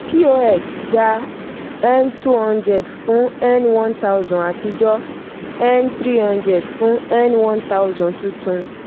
pos gba two hundred fún n one thousand àtijọ́; n three hundred fún n one thousand tuntun.